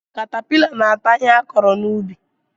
Katapịla na-ata ihe akụrụ n'ubi.